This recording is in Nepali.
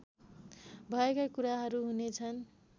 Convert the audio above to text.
भएका कुराहरू हुनेछन्